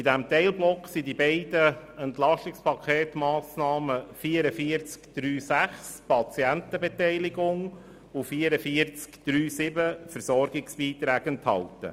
In diesem Teilblock sind die beiden Massnahmen 44.3.6, Patientenbeteiligung, und 44.3.7, Versorgungsbeiträge, enthalten.